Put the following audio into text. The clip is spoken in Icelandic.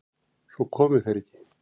Svo komu þeir ekki.